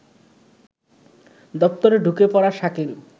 দপ্তরে ঢুকে পড়া শাকিল